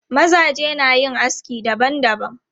Mazaje na yin aski dabam dabam.